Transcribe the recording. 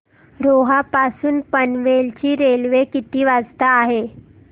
रोहा पासून पनवेल ची रेल्वे किती वाजता आहे